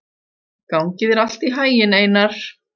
Gangi þér allt í haginn, Einar.